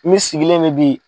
Min sigilen mɛ bi